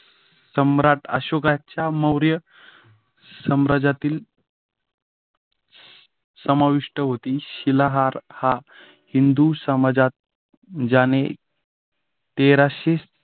सम्राट अशोकाच्या मौर्य साम्राज्यातील समाविष्ट होती. शिलाहार हा हिंदू समाजात ज्याने तेराशे